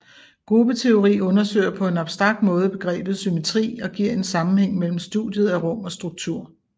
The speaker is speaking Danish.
Gruppeteori undersøger på en abstrakt måde begrebet symmetri og giver en sammenhæng mellem studiet af rum og struktur